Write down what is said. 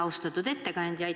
Austatud ettekandja!